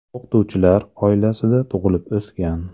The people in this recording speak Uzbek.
O‘qituvchilar oilasida tug‘ilib o‘sgan.